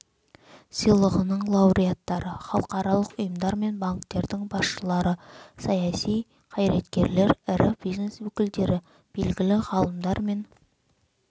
сыйлығының лауреаттары халықаралық ұйымдар мен банктердің басшылары саяси қайраткерлер ірі бизнес өкілдері белгілі ғалымдар мен